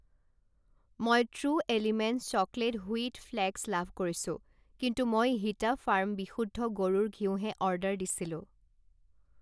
মই True Elements chocolate wheat flakes love কৰিছোঁ, কিন্তু মই হিটা ফাৰ্ম বিশুদ্ধ গৰুৰ ঘিউ হে অৰ্ডাৰ দিছিলোঁ।